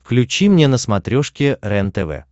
включи мне на смотрешке рентв